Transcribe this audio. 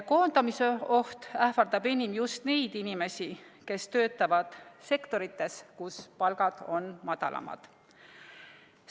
Koondamise oht ähvardab enim just neid inimesi, kes töötavad sektorites, kus palgad on madalamad.